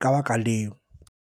ka baka leo.